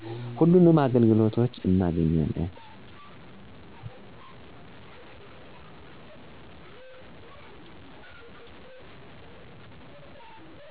ሁሉንም አገልግሎቶች እናገኛለን።